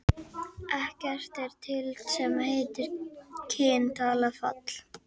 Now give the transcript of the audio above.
Ekkert er til sem heitir kyn, tala, fall.